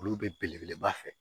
Olu bɛ belebeleba fɛ